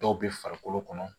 Dɔw bɛ farikolo kɔnɔ